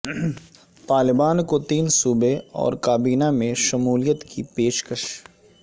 طالبان کو تین صوبے اور کابینہ میں شمولیت کی پیش کش